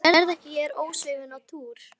Sérðu ekki að ég er ósofin á túr.